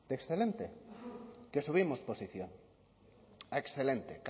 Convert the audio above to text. de excelente que subimos posición a excelente